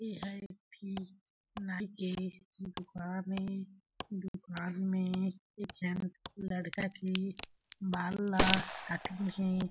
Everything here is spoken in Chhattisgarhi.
यह एक ठी क नाई के दुकान ए दुकान में लड़का के बाल ला काटिन हे।